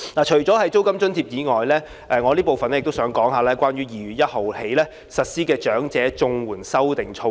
除租金津貼外，我還想談談2月1日起實施的長者綜援修訂措施。